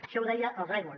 això ho deia el raimon